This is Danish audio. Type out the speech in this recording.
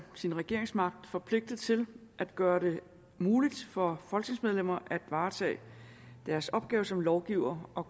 sin regeringsmagt forpligtet til at gøre det muligt for folketingsmedlemmerne at varetage deres opgave som lovgivere og